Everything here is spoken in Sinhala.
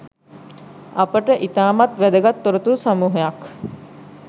අපට ඉතාමත් වැදගත්‍ තොරතුරු සමූහයක්